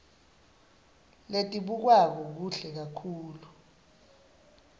letibukwako kuhle kakhulu